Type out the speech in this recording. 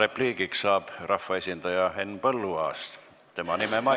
Repliigiks saab sõna rahvaesindaja Henn Põlluaas, tema nime mainiti.